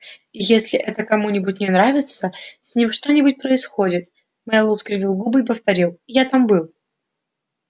и если это кому-нибудь не нравится с ним что-нибудь происходит мэллоу скривил губы и повторил я там был